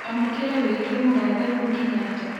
amũkĩra wĩĩgĩe mũngathe uhuru Kenyatta